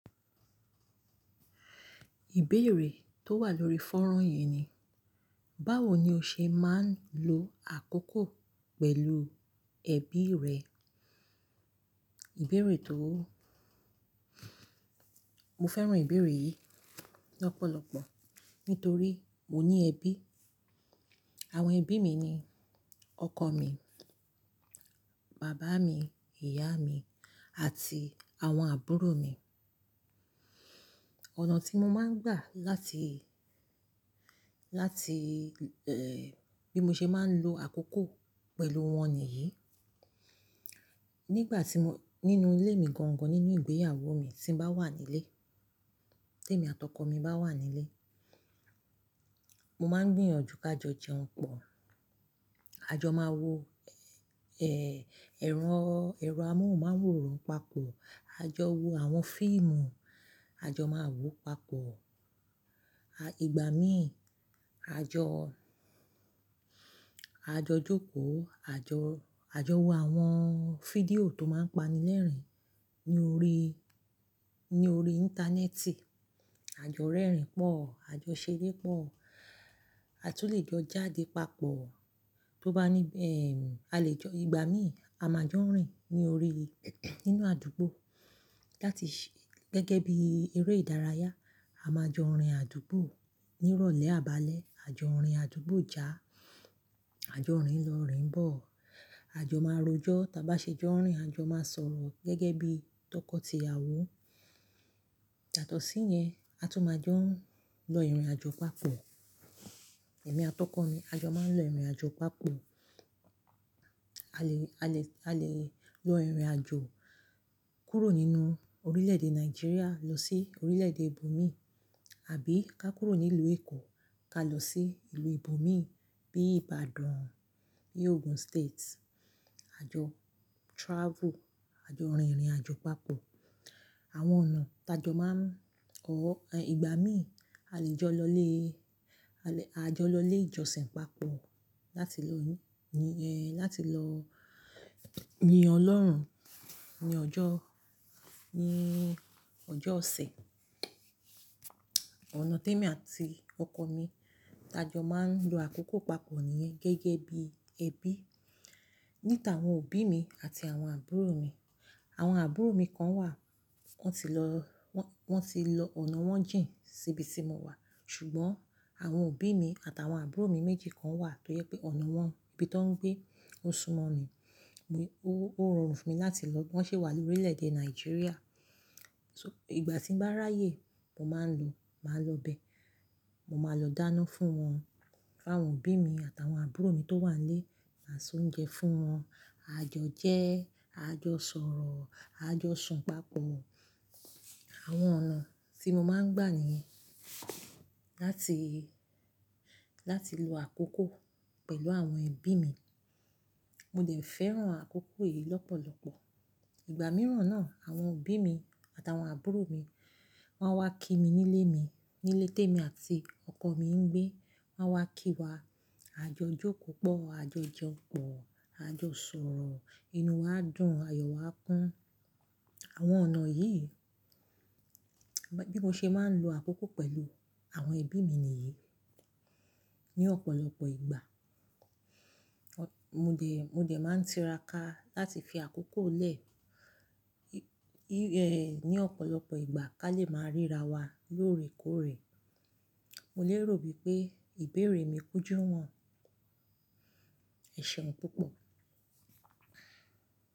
Ìbéèrè tó wà lórí fọ́ran yìí ni, báwo ni o ṣe máa ń lo àkókò pẹ̀lú ẹbí rẹ? Ìbéèrè tó mo fẹ́ràn ìbéèrè yìí lọ́pọ̀lọpọ̀ nítorí mo ní ẹbí. Àwọn ẹbí mi ni ọkọ mi, bàbá mi, ìyá mi àti àwọn àbúrò mi. Ọ̀nà tí mo máa ń gbà láti, láti, eh, bí mo ṣe máa ń lo àkókò pẹ̀lú wọn ni yìí. Nígbà tí mo-- nínú ilé mi gangan, nínú ìgbéyàwó mi tí ń bá wà nílé, témi àti ọkọ mi bá wà nílé, mo máa ń gbìyànjú kájo jẹun pọ̀. A jọ máa wo, eh, ẹ̀rọ amóhùnmáwòrán papọ̀, a jọ wo àwọn fíìmù, a jọ máa wò papọ̀. À, ìgbà míì, a jọ, a jọ jókòó, a jọ, a jọ wo àwọn fídíò tó máa ń pani lẹ́rìn-ín ní orí, ní orí íńtánẹ́ẹ̀tì, a jọ rẹ́rìn pọ̀, a jọ ṣeré pọ̀, a tún lè jọ jáde papọ̀. Tó bá ní, eh, a lè jọ ìgbà míì, a máa jọ rìn ní orí, nínú àdúgbò láti ṣi gẹ́gẹ́ bí eré ìdárayá. A máa jọ rìn àdúgbò ní ìrọ̀lẹ́, àbálẹ́, a jọ rìn àdúgbò já, a jọ rìn lọ, rìn bọ̀, a jọ máa rojọ́. Tí a bá ṣe jọ rìn, a jọ máa sọ̀rọ̀ gẹ́gẹ́ bí tọkọtìyàwó. Yàtọ̀sí yẹn, a tún máa jọ lọ ìrìnàjò papọ̀. Èmi àti ọkọ mi, a jọ máa ń lọ ìrìnàjò papọ̀. A le, a le, a le lọ ìrìnàjò kúrò nínú orílẹ̀-èdè Nàìjíríà lọ sí orílẹ̀-èdè ibòmí, àbí ká kúrò ní ìlú Èkó ká lọ sí ìlú ibòmí bí Ìbàdàn, bí Ogun State. A jọ travel, a jọ rìnrìnàjò papọ̀. Àwọn ọ̀nà ta jọ máa ń kọ́. Ìgbà míì, a lè jọ lọ ilé, a lè jọ lọ ilé ìjọsìn papọ̀ láti lọ yín, eh, láti lọ yin Ọlọ́run ní ọjọ́, ní ọjọ́ ọ̀sẹ̀. Ọ̀nà témi àti ọkọ mi ta jọ máa ń lo àkókò papọ̀ ni gẹ́gẹ́ bí ẹbí. Níta àwọn òbí mi àti àwọn àbúrò mi, àwọn àbúrò mi kan wà, wọ́n ti lọ, wọ́n tí lọ, ọ̀nà wọn jìn síbi tí mo wà. Ṣùgbọ́n àwọn òbí mi àti àwọn àbúrò mi méjì kan wà tó yẹ pé ọ̀nà wọn, ibi tó ń gbé ó súmọ́ mi. Ó rọrùn fún mi láti lọ. Wọ́n sì wà lórílẹ̀-èdè Nàìjíríà. So ìgbà tí ń bá ráyè, mo máa ń lọ, màá lọ bẹ. Mo máa lọ dáná fún wọn, fáwọn òbí mi àti àwọn àbúrò mi tó wà nlé, máa sè oúnjẹ fún wọn. A jọ jẹ́, a jọ sọ̀rọ̀, a jọ sùn papọ̀. Àwọn ọ̀nà tí mo máa ń gbà nìyẹn láti, láti lo àkókò pẹ̀lú àwọn ẹbí mi. Mo dẹ̀ fẹ́ràn àkókò yìí lọ́pọ̀lọpọ̀. Ìgbà mìíràn náà, àwọn òbí mi àti àwọn àbúrò mi wọ́n wá kí mi nílé mi, nílé témi àti ọkọ mi ń gbé. Wọ́n wá kí wa, a jọ jókòó pọ̀, a jọ jẹun pọ̀, a jọ sọ̀rọ̀, inú wa dùn, ayọ̀ wa kún. Àwọn ọ̀nà yìí, bí mo ṣe máa ń lo àkókò pẹ̀lú àwọn ẹbí mi nìyí ní ọ̀pọ̀lọpọ̀ ìgbà. Mo dẹ̀, mo dẹ̀ máa ń tiraka láti fi àkókò lẹ́, eh, ní ọ̀pọ̀lọpọ̀ ìgbà kí a lè máa ríra wa lóòrèkóòrè. Mo lè rò bí pé ìbéèrè mi kújú ìwọ̀n. Ẹ̀ ṣeun púpọ̀.